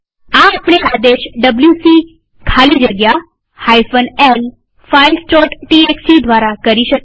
આ આપણે આદેશ ડબ્લ્યુસી ખાલી જગ્યા l filesટીએક્સટી દ્વારા કરી શકીએ